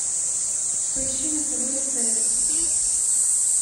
поищи на тв стс